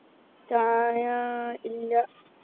ചായാ ഇല്ല